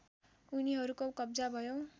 उनीहरूको कब्जा भयो